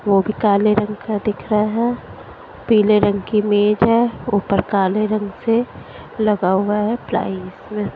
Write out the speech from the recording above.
वो भी काले रंग का दिख रहा है पीले रंग की मेज है ऊपर काले रंग से लगा हुआ है प्लाईस वे--